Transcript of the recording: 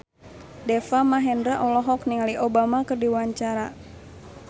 Deva Mahendra olohok ningali Obama keur diwawancara